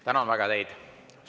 Tänan väga teid!